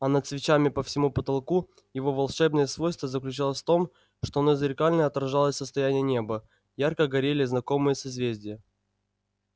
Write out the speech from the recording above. а над свечами по всему потолку его волшебное свойство заключалось в том что он зеркально отражал состояние неба ярко горели знакомые созвездия